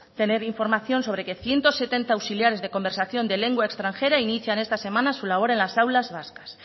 tener información sobre que ciento setenta auxiliares de conversación de lengua extranjera inician esta semana su labor en las aulas vascas